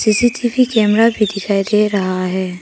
सी C T V camera भी दिखाई दे रहा है।